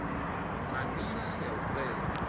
na nila ya u sedza